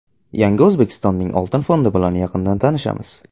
Yangi O‘zbekistonning oltin fondi bilan yaqindan tanishamiz!.